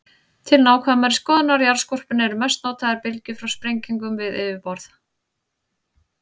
Til nákvæmari skoðunar á jarðskorpunni eru mest notaðar bylgjur frá sprengingum við yfirborð.